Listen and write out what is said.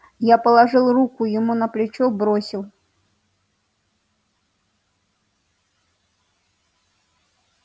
я положил руку ему на плечо бросил